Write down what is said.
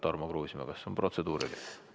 Tarmo Kruusimäe, kas protseduuriline?